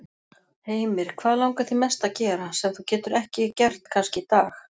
Heimir: Hvað langar þig mest að gera, sem þú getur ekki gert kannski í dag?